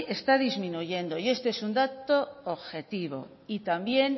está disminuyendo y este es un dato objetivo y también